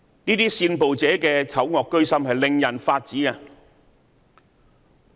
這些煽暴者的醜惡居心，令人髮指！